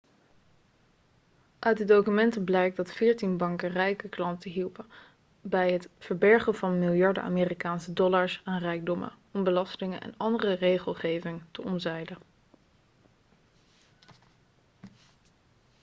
uit de documenten blijkt dat veertien banken rijke klanten hielpen bij het verbergen van miljarden amerikaanse dollars aan rijkdommen om belastingen en andere regelgeving te omzeilen